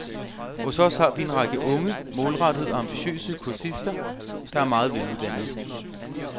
Hos os har vi en række unge, målrettede og ambitiøse kursister, der er meget veluddannede.